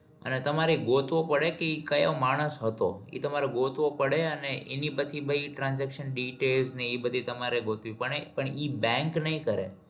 અને તમારે ગોતવો પડે કઈ કયો માણસ હતો એ તમારે ગોતવો પડે અને એની બધી transaction detail ને ઇ બધી ગોતવી પડે પણ ઈ bank નઈ કરે